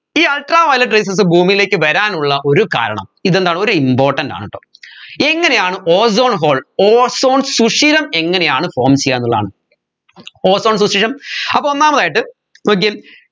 ഈ ultraviolet rayses ഭൂമിയിലേക്ക് വരാനുള്ള ഒരു കാരണം ഇതെന്താണ് ഒരു important ആണ് ട്ടോ എങ്ങനെയാണു ozone hole ozone സുഷിരം എങ്ങനെയാണ് form ചെയ്യാന്നുള്ളതാണ് ozone സുഷിരം അപ്പോ ഒന്നാമതായിട്ട് നോക്കിയേ